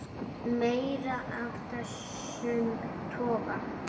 Meira af þessum toga.